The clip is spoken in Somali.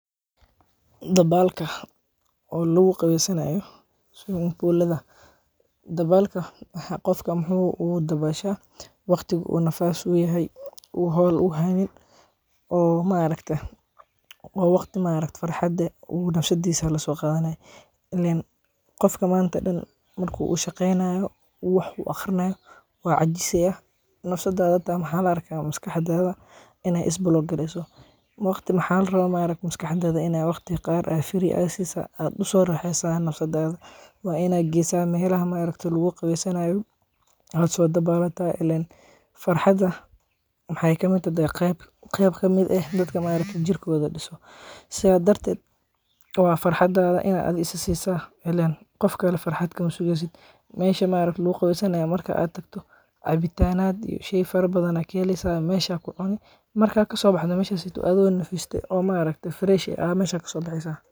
Dabalka oo lagu qawesanayo, sweaming bull lada dabalka qof muxuu u dabashaa, waqtiga u nafas yahay, u hol u haynin, oo ma aragta oo nafsadisaa waqti u laso qadhanay, ee qof manta dan marku shaqeynayo oo u wax aqrinaya, wuu cajisayaa, nafsadaada hata maxaa laga yawa maskaxdadha in ee is block gareysa, waqti maxaa la rawa maskaxdadha inaad waqti qaar ah siso, oo aad u raxeyso aya nafsadaada, waa in aad geysa meelaha ma aragtaye lagu qawesanaya, aad so dabalataa, ilen farxaada wexee kamiid tahay qeyb ka miid ah dadka jirkodha disan, sithas darted waa farxadadha in aad isa sisa, ilen qof kale farxaad kama sugeysiid, mesha lagu qawesanayo marka tagtiid cabitanaad sheeyal fara badan aya ka heleysaa, mesha aya ku cuni, markaad kasobaxdo athigo nafiste oo ma aragtee fresh eh aya kasobaxeysaa.